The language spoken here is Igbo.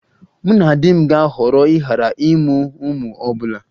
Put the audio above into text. Mụ na di m ga-ahọrọ ịghara ịmụ ụmụ ọ bụla